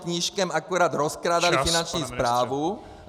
Knížkem akorát rozkrádali Finanční správu.